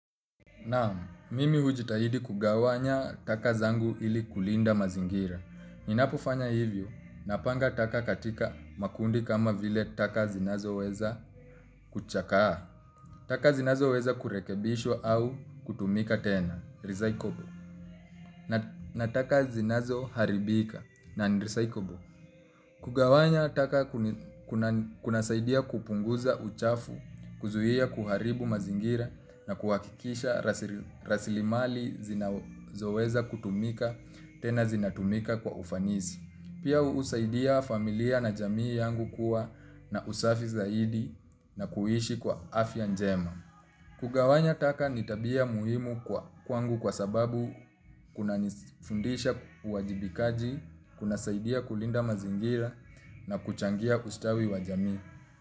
Naam, mimi hujitahidi kugawanya taka zangu ili kulinda mazingira. Ninapofanya hivyo, napanga taka katika makundi kama vile taka zinazo weza kuchakaa. Taka zinazoweza kurekebishwa au kutumika tena, recyclable, na na taka zinazo haribika, non recyclable. Kugawanya taka kuna saidia kupunguza uchafu, kuzuia kuharibu mazingira na kuhakikisha rasilimali zinazoweza kutumika tena zinatumika kwa ufanisi. Pia usaidia familia na jamii yangu kuwa na usafi zaidi na kuhishi kwa afya njema. Kugawanya taka ni tabia muhimu kwa kwangu kwa sababu kuna nifundisha uwajibikaji, kuna saidia kulinda mazingira na kuchangia ustawi wa jamii.